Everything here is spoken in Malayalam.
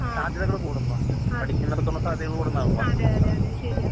സാധ്യതകൾകൂടുന്നു. പഠിക്കുന്നിടത്തോളം സാധ്യതകൾകൂടൂന്നാണല്ലോ.